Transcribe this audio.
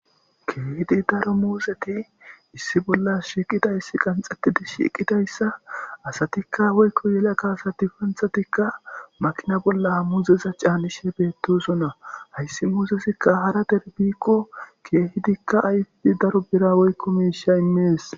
keeehidi daro muuseti issi bollas shiiqidayssi qanxxettidi shiiqidayssa asatikka woykko yelaka asadifanthatikka maqina bolla muzeza caanishe beettosonna hayssi muusesikka hara derbikko keehidikka ayfidi daro bira woykko miisha immees